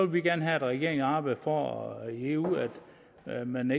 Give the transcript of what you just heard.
vi gerne have at regeringen arbejder for i eu at man